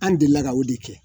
An delila ka o de kɛ